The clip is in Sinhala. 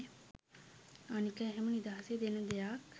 අනික එහෙම නිදහසේ දෙන දෙයක්